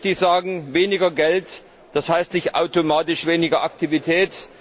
Zum Zweiten möchte ich sagen Weniger Geld, das heißt nicht automatisch weniger Aktivität.